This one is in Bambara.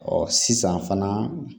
Ɔ sisan fana